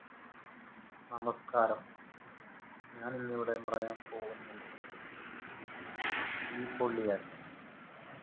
നമസ്ക്കാരം ഞാൻ ഇന്ന് ഇവിടെ പറയാൻ പോവുന്ന വിഷയം തീപൊള്ളിയാൽ